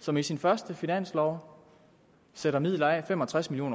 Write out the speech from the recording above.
som i sin første finanslov sætter midler af fem og tres million